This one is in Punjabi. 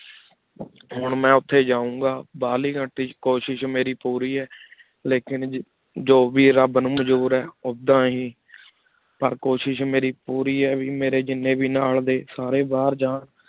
ਹੁਣ ਮੈ ਓਥੀ ਜੋੰ ਗਾ ਬਹਿਰ ਲਾਏ country ਵਿਚ ਕੋਸ਼ਿਸ਼ ਮੇਰੀ ਪੋਰੀ ਆ ਲੇਕਿਨ ਜੋ ਵੇ ਰਾਬ ਨੂ ਮੰਜੂਰ ਆਯ ਓਦਾਂ ਹੇ ਪਰ ਕੋਸ਼ਿਸ਼ ਮੇਰੀ ਪੋਰੀ ਮੇਰੇ ਜਿਨੀ ਵੇ ਨਾਲ ਦੇ ਸਾਰੀ ਬਹਿਰ ਜਾਨ